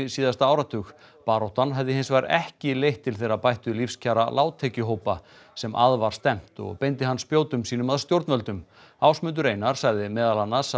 síðasta áratug baráttan hafi hins vegar ekki leitt til þeirra bættu lífskjara láglaunahópa sem að var stefnt og beindi hann spjótum sínum að stjórnvöldum Ásmundur Einar sagði meðal annars